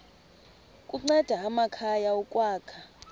kunceda amakhaya ukwakha